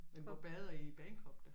Hvor bader I i Bagenkop da